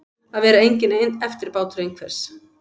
Að vera enginn eftirbátur einhvers